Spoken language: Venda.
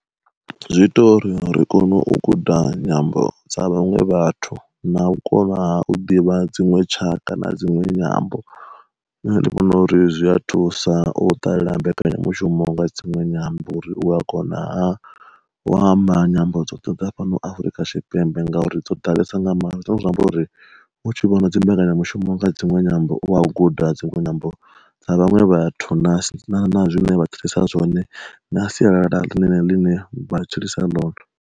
Zwi ita uri ri kone u guda nyambo dza vhaṅwe vhathu na u kovha ha u ḓivha dziṅwe tshaka na dziṅwe nyambo, nṋe ndi vhona uri zwi a thusa u ṱalela mbekanyamushumo nga dzinwe nyambo uri u a kona ha wa amba nyambo dzoṱhe dza fhano Afurika Tshipembe ngauri dzo ḓalesa nga maanḓa. Zwine zwa amba uri u tshi vhona dzi mbekanyamushumo nga dzinwe nyambo u vha a khou guda dzinwe nyambo dza vhaṅwe vhathu na na na na zwine vha tshilisa zwone na sialala ḽine ḽine vha tshilisa ḽoto.